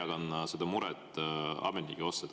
Ka mina jagan seda muret ametnike pärast.